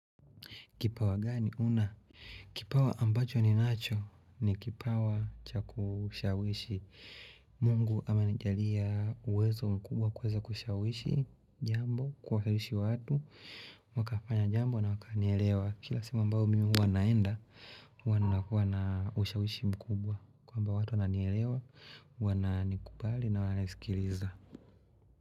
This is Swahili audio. Kipawa gani huna? Kipawa ambacho ninacho, ni kipawa cha kushawishi. Mungu amenijalia uwezo mkubwa wa kuweza kushawishi jambo, kuhawishi watu, wakafanya jambo na wakanielewa, kila sehemu ambao mimi huwa naenda huwa nakuwa na ushawishi mkubwa kwamba watu wananielewa, wananikubali na wananisikiliza.